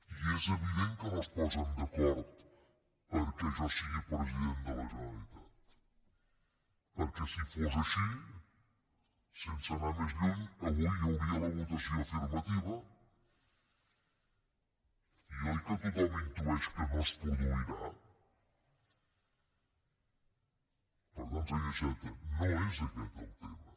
i és evident que no es posen d’acord perquè jo sigui president de la generalitat perquè si fos així sense anar més lluny avui hi hauria la votació afirmativa i oi que tothom intueix que no es produirà per tant senyor iceta no és aquest el tema